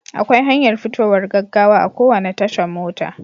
Akwai hanyar fitowar gaggawa a kowane tashan mota.